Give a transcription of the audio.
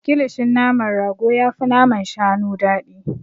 Kilishin naman rago yafi naman shanu daɗi.